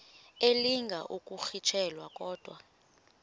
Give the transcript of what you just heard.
elinga ukuyirintyela kodwa